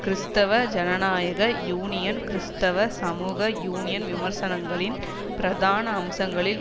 கிறிஸ்தவ ஜனநாயக யூனியன் கிறிஸ்தவ சமூக யூனியன் விமர்சனங்களின் பிரதான அம்சங்களில்